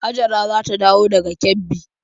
Hajara za ta dawo daga Kebbi.